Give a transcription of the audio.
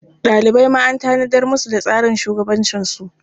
Ɗalibai ma an tanadar musu da tsarin shugabancinsu.